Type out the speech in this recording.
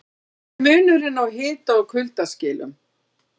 Hver er munurinn á hita- og kuldaskilum?